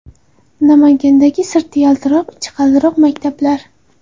Namangandagi sirti yaltiroq, ichi qaltiroq maktablar.